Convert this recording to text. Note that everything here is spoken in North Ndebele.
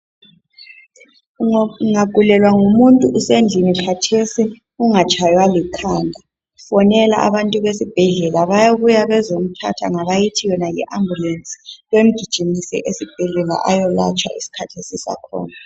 Ung ungagulelwa ngumuntu usendlini khathesi ungatshaywa likhanda. Fonela abantu besibhedlela bayabuya bezomthatha ngabayithi yona yi ambulensi bemgijimise esibhedlela ayolatshwa iskhathi sisakhona.